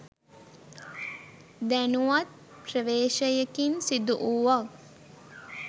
දැනුවත් ප්‍රවේශයකින් සිදුවූවක්